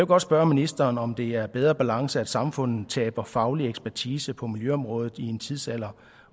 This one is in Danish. godt spørge ministeren om det giver bedre balance at samfundet taber faglig ekspertise på miljøområdet i en tidsalder